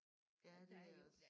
Ja det er også